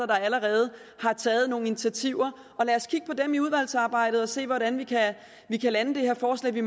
der allerede har taget nogle initiativer og lad os kigge på dem i udvalgsarbejdet og se hvordan vi kan lande det her forslag vi